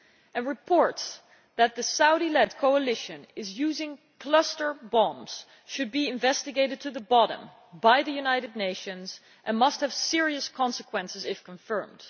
A report that the Saudi led coalition is using cluster bombs should be investigated thoroughly by the United Nations and must have serious consequences, if confirmed.